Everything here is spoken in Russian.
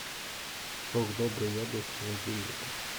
сок добрый яблочный один литр